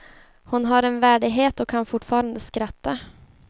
Hon har en värdighet och kan fortfarande skratta.